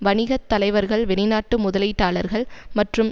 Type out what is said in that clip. வணிக தலைவர்கள் வெளிநாட்டு முதலீட்டாளர்கள் மற்றும்